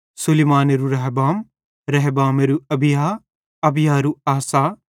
सुलैमानेरू रहबाम रहबामेरू अबिय्याह अबिय्‍याहेरू आसा